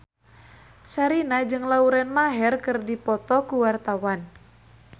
Sherina jeung Lauren Maher keur dipoto ku wartawan